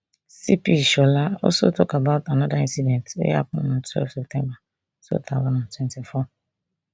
cp ishola also tok about anoda incident wey happun on twelve september two thousand and twenty-four